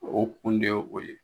O kun de ye o ye